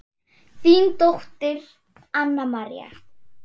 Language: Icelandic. Þín dóttir Anna María.